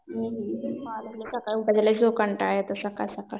हुं सकाळी उठायचा लई कंटाळ येतो सकाळ सकाळ.